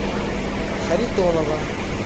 харитонова